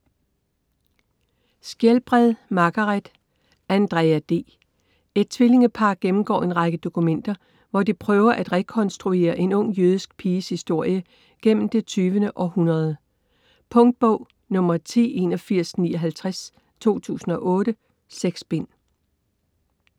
Skjelbred, Margaret: Andrea D Et tvillingepar gennemgår en række dokumenter, hvor de prøver at rekonstruere en ung jødisk piges historie gennem det 20. århundrede. Punktbog 108159 2008. 6 bind.